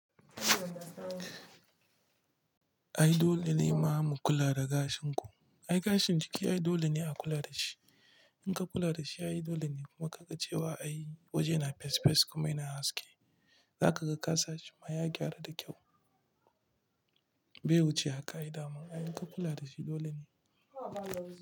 Ai dole ne ma mu kula da gashin ku. Ai gashin jiki ai dole ne a kula da shi. In ka kula da shi, ai dole ne ma ka ga cewa a waje na fesfes kuma yana haske, za ka ga ka sa shi ma ya gyaru da kyau. Bai wuce haka ai dama. Ai in ka kula da shi dole ne.